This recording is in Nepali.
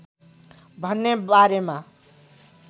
भन्ने बारेमा